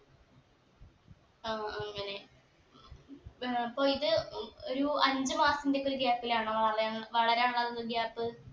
ആ അങ്ങനെ ഏർ അപ്പൊ ഇത് ഉം ഒരു അഞ്ചു മാസത്തിന്റെയൊക്കെ ഒരു gap ലാണോ വളർ വളരാനുള്ളത് gap